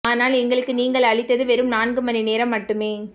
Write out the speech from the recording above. ஆனால் எங்களுக்கு நீங்கள் அளித்தது வெறும் நான்கு மணி நேரம் மட்டுமே